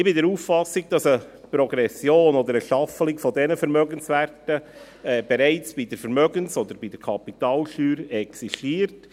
Ich bin der Auffassung, dass eine Progression oder eine Staffelung dieser Vermögenswerte bereits bei der Vermögens- oder Kapitalsteuer existiert.